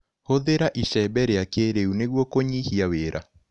Hũthĩra icembe rĩa kĩrĩu nĩguo kũnyihia wĩra.